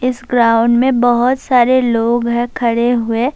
اس ground مے بھوت سارے لوگ ہے کھڈے ہوئے--